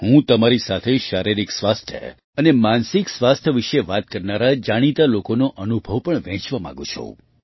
હું તમારી સાથે શારીરિક સ્વાસ્થ્ય અને માનસિક સ્વાસ્થ્ય વિશે વાત કરનારા જાણીતા લોકોનો અનુભવ પણ વહેંચવા માગું છું